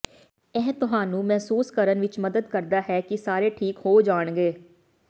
ਇਹ ਤੁਹਾਨੂੰ ਮਹਿਸੂਸ ਕਰਨ ਵਿਚ ਮਦਦ ਕਰਦਾ ਹੈ ਕਿ ਸਾਰੇ ਠੀਕ ਹੋ ਜਾਣਗੇ